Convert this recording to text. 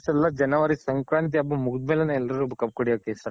ಎಲ್ಲ January ಸಂಕ್ರಾಂತಿ ಹಬ್ಬ ಮುಗಿದ್ ಮೇಲೇನೆ ಎಲ್ರುನು ಕಬ್ ಕಡ್ಯಕೆ start ಮಾಡೋದು.